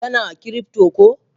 Yana cryptor ko?